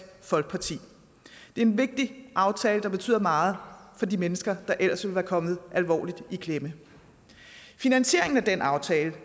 folkeparti det er en vigtig aftale der betyder meget for de mennesker der ellers ville være kommet alvorligt i klemme finansieringen af den aftale